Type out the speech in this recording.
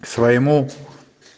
к своему